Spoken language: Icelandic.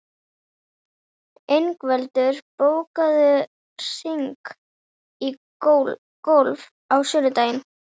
Ingveldur, bókaðu hring í golf á sunnudaginn.